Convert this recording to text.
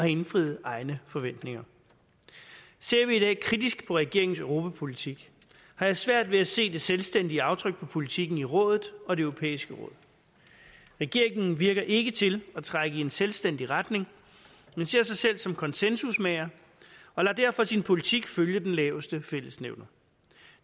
indfriet egne forventninger ser vi i dag kritisk på regeringens europapolitik har jeg svært ved at se det selvstændige aftryk på politikken i rådet og det europæiske råd regeringen virker ikke til at trække i en selvstændig retning men ser sig selv som konsensusmager og lader derfor sin politik følge den laveste fællesnævner